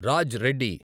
Raj Reddy